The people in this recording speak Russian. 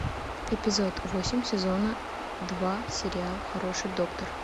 эпизод восемь сезона два сериал хороший доктор